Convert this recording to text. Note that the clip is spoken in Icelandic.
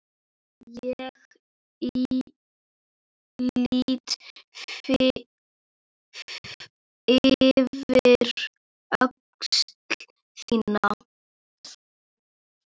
Ég lýt yfir öxl þína.